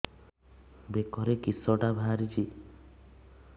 ବେକରେ କିଶଟା ବାହାରିଛି